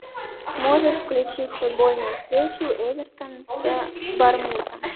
можешь включить футбольную встречу эвертон с борнмутом